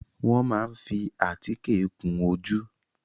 Wọ́n máa ń fi àtíkè kun ojú.